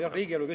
Jah, oli küll.